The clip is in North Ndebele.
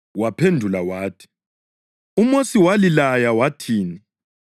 Waphendula wathi, “UMosi walilaya wathini?”